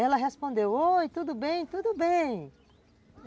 Ela respondeu, oi, tudo bem, tudo bem.